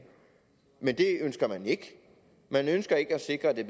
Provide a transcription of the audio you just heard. men det ønsker man ikke man ønsker ikke at sikre at det